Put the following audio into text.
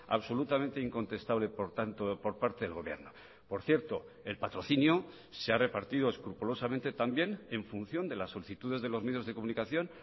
absolutamente incontestable por tanto por parte del gobierno por cierto el patrocinio se ha repartido escrupulosamente también en función de las solicitudes de los medios de comunicación